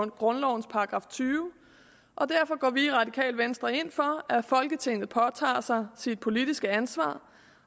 grundlovens § tyve og derfor går vi i radikale venstre ind for at folketinget påtager sig sit politiske ansvar